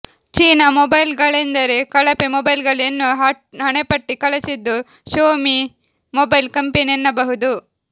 China ಮೊಬೈಲ್ಗಳೆಂದರೆ ಕಳಪೆ ಮೊಬೈಲ್ಗಳು ಎನ್ನುವ ಹಣೆಪಟ್ಟಿ ಕಳಚಿದ್ದು ಶ್ಯೋಮಿ ಮೊಬೈಲ್ ಕಂಪೆನಿ ಎನ್ನಬಹುದು